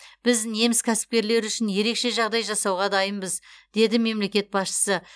біз неміс кәсіпкерлері үшін ерекше жағдай жасауға дайынбыз деді мемлекет басшысы